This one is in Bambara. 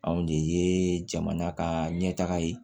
Anw de ye jamana ka ɲɛ taga ye